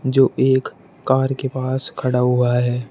जो एक कार के पास खड़ा हुआ है।